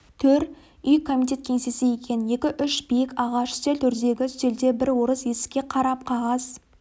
төр үй комитет кеңсесі екен екі-үш биік ағаш үстел төрдегі үстелде бір орыс есікке қарап қағаз